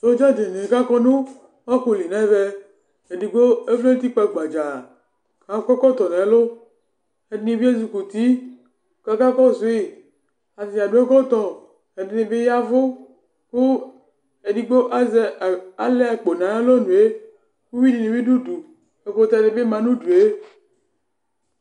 Sɔdza dini kʋ akɔ nʋ ofuli nʋ ɛvɛ Edigbo ɔvlɛ nʋ utikpǝ gbadzaa, akɔ ɛkɔtɔ nʋ ɛlʋ Ɛdɩnɩ bɩ ezikuti, kʋ aka kɔsʋ yɩ Atadza adu ɛkɔtɔ Ɛdɩnɩ bɩ yavʋ, kʋ edigbo alɛ akpo nʋ ayʋ alɔnʋ yɛ Uvi di bɩ du udu Ɛkʋtɛni bɩma nʋ udu yɛ